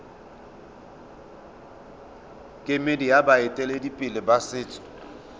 kemedi ya baeteledipele ba setso